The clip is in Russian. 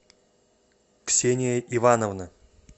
ксения ивановна